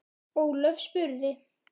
Ólöf spurði